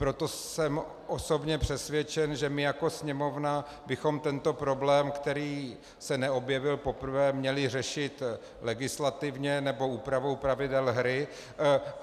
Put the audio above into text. Proto jsem osobně přesvědčen, že my jako Sněmovna bychom tento problém, který se neobjevil poprvé, měli řešit legislativně nebo úpravou pravidel hry.